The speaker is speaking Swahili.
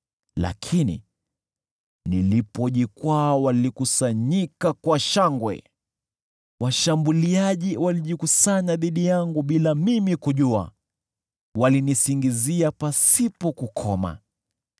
Lakini nilipojikwaa, walikusanyika kwa shangwe; washambuliaji walijikusanya dhidi yangu bila mimi kujua. Walinisingizia pasipo kukoma.